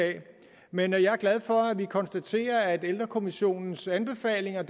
men jeg er glad for at vi konstaterer at ældrekommissionens anbefalinger